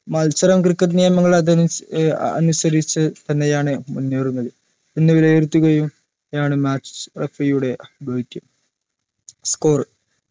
മത്സരം cricket നിയമങ്ങൾ അത് അനുസ ഏർ ആഹ് അനുസരിച്ച് തന്നെയാണ് മുന്നേറുന്നത് എന്ന് വിലയിരുത്തുകയും ആണ് match referee യുടെ ദൗത്യം score